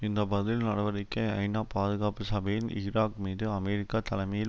இந்த பதில் நடவடிக்கை ஐநா பாதுகாப்பு சபையின் ஈராக் மீது அமெரிக்கா தலைமையில்